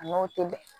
A n'o tɛ bɛn